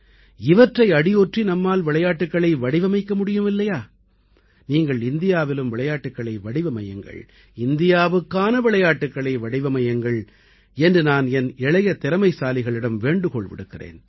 இவற்றை அடியொற்றி நம்மால் விளையாட்டுக்களை வடிவமைக்க முடியும் இல்லையா நீங்கள் இந்தியாவிலும் விளையாட்டுக்களை வடிவமையுங்கள் இந்தியாவுக்கான விளையாட்டுக்களை வடிவமையுங்கள் என்று நான் என் இளைய திறமைசாலிகளிடம் வேண்டுகோள் விடுக்கிறேன்